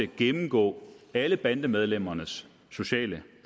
gennemgå alle bandemedlemmernes sociale